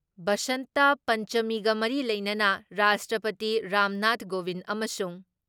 ꯕꯁꯟꯇ ꯄꯟꯆꯃꯤꯒ ꯃꯔꯤ ꯂꯩꯅꯅ ꯔꯥꯁꯇ꯭ꯔꯄꯇꯤ ꯔꯥꯝꯅꯥꯊ ꯒꯣꯕꯤꯟ ꯑꯃꯁꯨꯡ